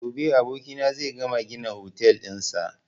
Gobe abokina zai gama gina otel ɗin sa